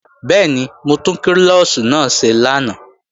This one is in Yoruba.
Bẹ́ẹ̀ni, mo tún klọ́ọ̀ṣì náà ṣe lánàá